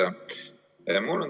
Hea juhataja!